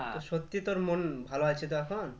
তো সত্যি তোর মন ভালো আছে তো এখন?